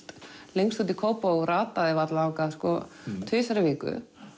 lengst út í Kópavog og rataði varla þangað sko tvisvar í viku